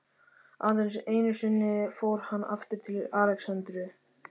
Aðeins einusinni fór hann aftur til Alexandríu.